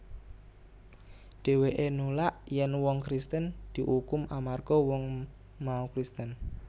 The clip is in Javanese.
Dhèwèké nulak yèn wong Kristen diukum amarga wong wong mau Kristen